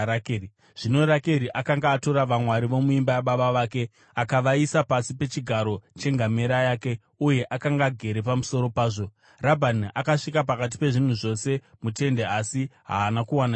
Zvino Rakeri akanga atora vamwari vomuimba yababa vake akavaisa pasi pechigaro chengamera yake uye akanga agere pamusoro pazvo. Rabhani akatsvaka pakati pezvinhu zvose mutende asi haana kuwana chinhu.